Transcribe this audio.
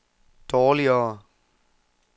dårligere